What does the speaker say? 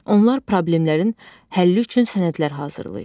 Onlar problemlərin həlli üçün sənədlər hazırlayır.